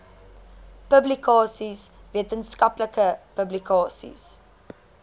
publikasies wetenskaplike publikasies